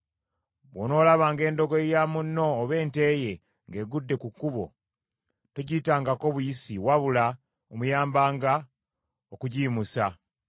Bw’onoolabanga endogoyi ya munno, oba ente ye, ng’egudde ku kkubo, togiyitangako buyisi, wabula omuyambanga okugiyimusa.